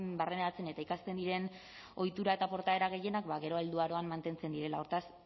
barneratzen eta ikasten diren ohitura eta portaera gehienak gero helduaroan mantentzen direla hortaz